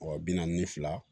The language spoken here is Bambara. Wa bi naani ni fila